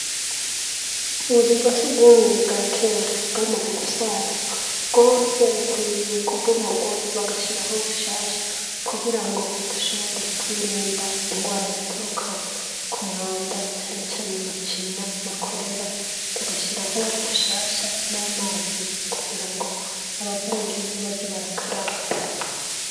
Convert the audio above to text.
Ubuzu bwa sugumwe bwa kera bwamaze gusaza. Bwose bukwiye kubomogwa bagashiraho bushasha kugirango dushobore kwirinda ingwara zituruka ku mwanda cane cane Amacinya na Korera ; tugashiraho bushasha n'amazi kugira ngo abavuyeyo baze barakaraba.